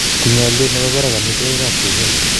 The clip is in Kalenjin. tinyei olye nebo barak omitwogikab duket